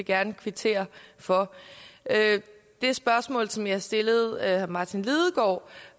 gerne kvittere for det spørgsmål som jeg stillede herre martin lidegaard